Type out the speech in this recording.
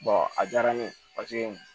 a diyara ne ye paseke